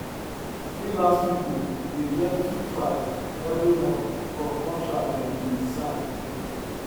freelance people dey get two five every month from contract them bin sign